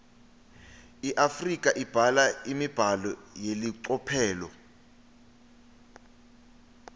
iafrika ibhala imibhalo yelicophelo